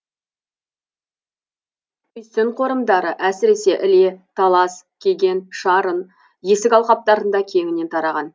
үйсін қорымдары әсіресе іле талас кеген шарын есік алқаптарында кеңінен тараған